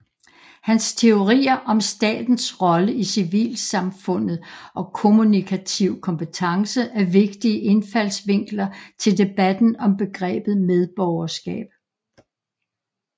Hans teorier om statens rolle i civilsamfundet og kommunikativ kompetence er vigtige indfaldsvinkler til debatten om begrebet medborgerskab